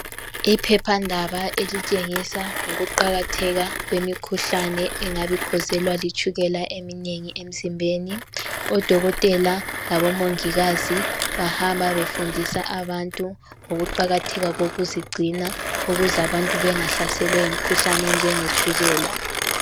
Iphephandaba elitshengisa ngokuqakatheka kwemikhuhlane engabi kwezelwa eminengi emzimbeni. Odokotela labomongikazi bahamba befundisa bantu ngokuqakatheka kokuzigcina ukuze abantu bangahlaselwa yimikhuhlani enjengetshukela.